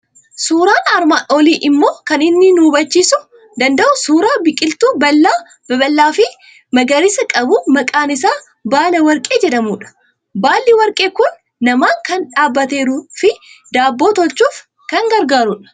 Suuraan armaan olii immoo kan inni nu habachiisuu danda'u suuraa biqiltuu baala babal'aa fi magariisa qabu maqaan isaa baala warqee jedhamudha. Baalli warqee kun namaan kan dhaabbateeruu fi daabboo tolchuuf kan gargaarudha.